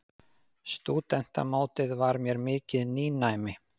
Stúdentamótið var mér mikið nýnæmi.